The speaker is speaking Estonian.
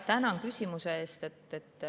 Tänan küsimuse eest.